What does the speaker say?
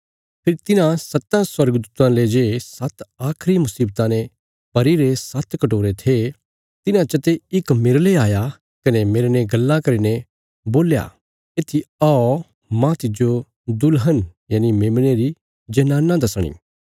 फेरी तिन्हां सत्तां स्वर्गदूतां ले जे सात्त आखरी मुशीवतां ने भरीरे सात्त कटोरे थे तिन्हां चते इक मेरले आया कने मेरने गल्लां करीने बोल्या येत्थी औ मांह तिज्जो दुल्हन यनि मेमने री जनाना दसणी